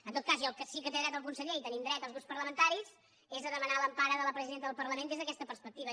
en tot cas al que sí que té dret el conseller i hi tenim dret els grups parlamentaris és a demanar l’empara de la presidenta del parlament des d’aquesta perspectiva